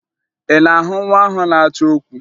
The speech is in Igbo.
Ị na-ahụ nwa ahụ na-achọ okwu?